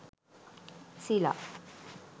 sila